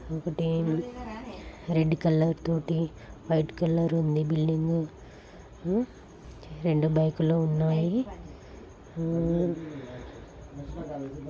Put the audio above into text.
ఒకటేమో red colour తోటి white colour ఉంది. బిల్డింగ్ ఊ రెండు బైకులు ఉన్నాయి . ఊ-- ]